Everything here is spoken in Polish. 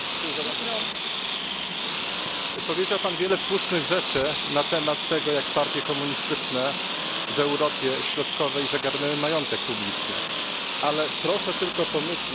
Powiedział pan wiele słusznych rzeczy na temat tego, jak partie komunistyczne w Europie Środkowej zagarnęły majątek publiczny, ale proszę tylko pomyśleć o naszych narodach, które tam żyją.